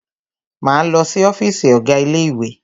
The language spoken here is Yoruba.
Máa lọ si ọ́fìsì ọ̀gá ilé ìwé.